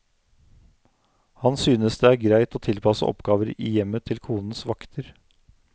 Han synes det er greit å tilpasse oppgaver i hjemmet til konens vakter.